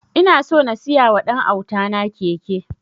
Ina so na siya wa ɗan auta na keke